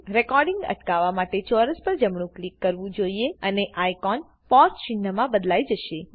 recording અટકવવા માટે ચોરસ પર જમણું ક્લિક કરવું જોઈએ અને આઇકો પોઝ ચિન્હમાં બદલાઈ જશે